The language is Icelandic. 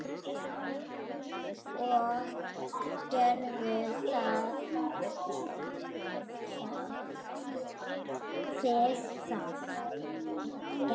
Og gerðu þið það?